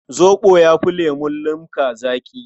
Zoɓo ya fi lemun limka zaƙi.